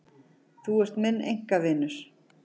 Þú ert minn einkavinur.